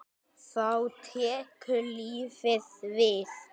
Þá tekur lífið við?